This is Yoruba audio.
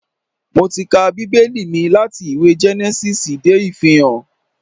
Mo ti ka Bíbẹ́lì mi láti ìwé Gẹ́nẹ́sísì dé Ìfihàn